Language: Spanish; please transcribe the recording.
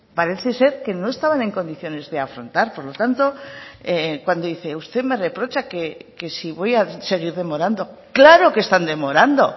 parece ser que no estaban en condiciones de afrontar por lo tanto cuando dice usted me reprocha que si voy a seguir demorando claro que están demorando